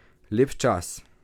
Lep čas.